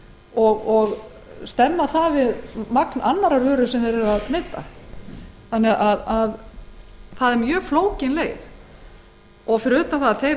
og miða við magn þeirra í annarri vöru sem þeir neyta það er mjög flókin leið fyrir utan það að þeir